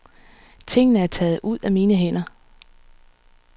Tingene er taget ud af mine hænder.